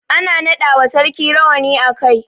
Ana naɗa wa sarki rawani a kai.